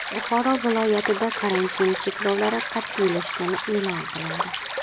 Buxoro viloyatida karantin cheklovlari qat’iylashgani e’lon qilindi.